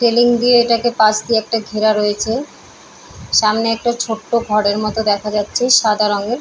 railing দিয়ে এটাকে পাশ দিয়ে একটা ঘেরা রয়েছে সামনে একটা ছোট্ট ঘরের মতো দেখা যাচ্ছে সাদা রংয়ের-